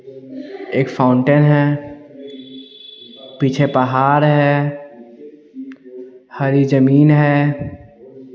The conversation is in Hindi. एक फाउंटेन है पीछे पहाड़ है हरी जमीन है।